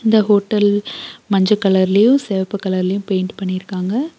இந்த ஹோட்டல் மஞ்ச கலர்லயு செவப்பு கலர்லயு பெயிண்ட்டு பண்ணிருக்காங்க.